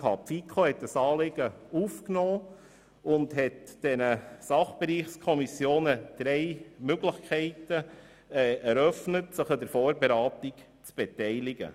Die FiKo nahm das Anliegen auf und eröffnete den Sachbereichskommissionen drei Möglichkeiten, sich an der Vorberatung zu beteiligen.